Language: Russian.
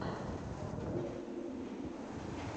открой песни ютюб